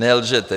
Nelžete.